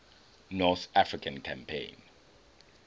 north african campaign